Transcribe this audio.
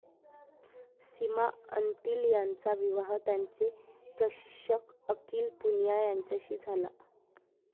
सीमा अंतिल यांचा विवाह त्यांचे प्रशिक्षक अंकिल पुनिया यांच्याशी झाला.